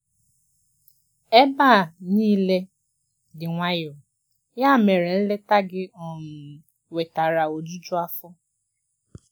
Ebe a niile dị nwayọ, ya mere nleta gị um wetara ojuju afọ.